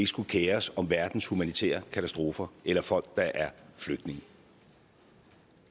skulle kere os om verdens humanitære katastrofer eller folk der er flygtninge